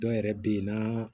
Dɔw yɛrɛ bɛ yen naa